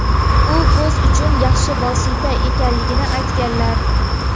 u ko‘z uchun yaxshi vosita ekanligini aytganlar.